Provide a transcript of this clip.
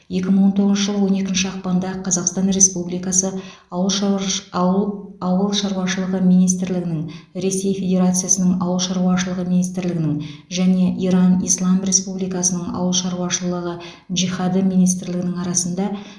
екі мың он тоғызыншы жылы он екінші ақпанда қазақстан республикасы ауыл шаруаш ауыл ауыл шаруашылығы министрлігінің ресей федерациясының ауыл шаруашылығы министрлігінің және иран ислам республикасының аулы шаруашылығы джихады министрлігінің арасында